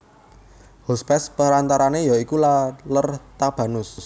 Hospes perantarane ya iku Laler Tabanus